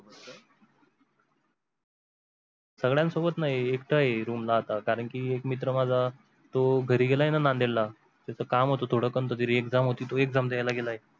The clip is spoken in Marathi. सगळ्यांसोबत नाही एकटा आहे room ला आता कारण की एक मित्र माझा तो घरी गेलाय ना नांदेडला त्याचं काम होतं थोडं कोणत तरी exam होती तो exam द्यायला गेलाय.